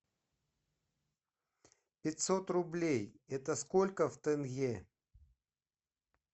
пятьсот рублей это сколько в тенге